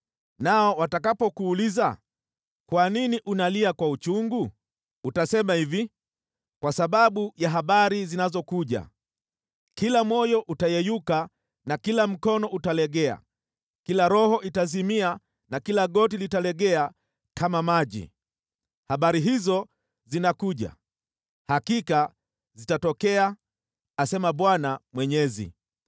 Nao watakapokuuliza, ‘Kwa nini unalia kwa uchungu?’ Utasema hivi, ‘Kwa sababu ya habari zinazokuja. Kila moyo utayeyuka na kila mkono utalegea, kila roho itazimia na kila goti litalegea kama maji.’ Habari hizo zinakuja! Hakika zitatokea, asema Bwana Mwenyezi.”